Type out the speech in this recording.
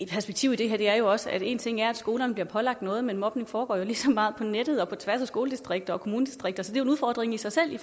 perspektiv i det her er jo også at en ting er at skolerne bliver pålagt noget men mobning foregår jo lige så meget på nettet og på tværs af skoledistrikter og kommunegrænser så jo en udfordring i sig selv i